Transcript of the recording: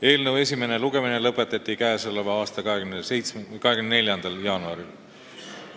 Eelnõu esimene lugemine lõpetati 24. jaanuaril.